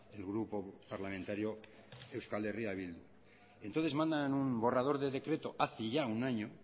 el grupo parlamentario euskal herria bildu entonces mandan en un borrador de decreto hace ya un año